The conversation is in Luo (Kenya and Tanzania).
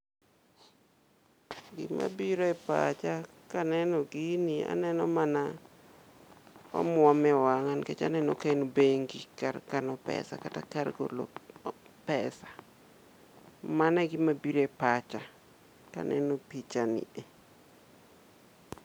Gima biro e pacha kaneno gini to aneno mana omuom ewang'a, nikech aneno ka en bengi, kar kano pesa kata kar golo pesa. Mano e gima biro e paxcha kaneno pichani e.